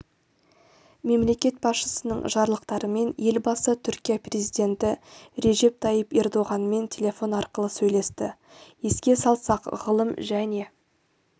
мемлекет басшысының жарлықтарымен елбасы түркия президенті режеп тайып ердоғанмен телефон арқылы сөйлесті еске салсақ ғылым және